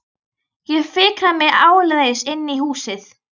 Ég fikra mig áleiðis inn í húsið.